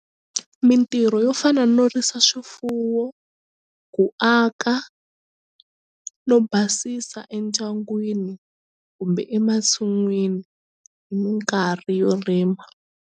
Mintirho yo fana no risa swifuwo ku aka no basisa endyangwini kumbe emasin'wini hi mikarhi yo rima.